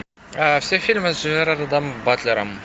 все фильмы с джерардом батлером